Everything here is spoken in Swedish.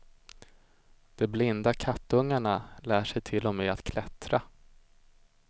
De blinda kattungarna lär sig till och med att klättra.